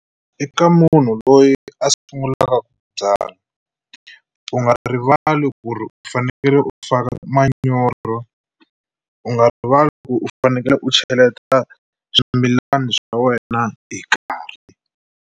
Eka munhu loyi a sungulaka byala u nga rivali ku ri u fanekele u faka manyoro u nga rivali ku u fanekele u cheleta swimilana swa wena hi nkarhi.